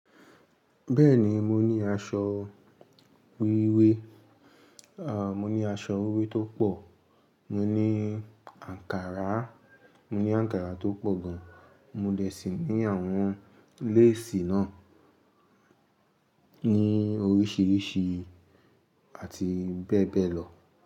Bẹ́ẹ̀ni, mo ní aṣọ wíwé, à, mo ní aṣọ wíwé tó pọ̀, mo ní àǹkárá, mo ní àǹkárá tó pọ̀ gan, mo dẹ̀ sì ní àwọn leesì náà ní oríṣìíríṣìí àti bẹ́ẹ̀ bẹ́ẹ̀ lọ.